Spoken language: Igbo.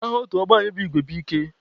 Aha otu ọgbọ anyị bụ Igwe bu ike.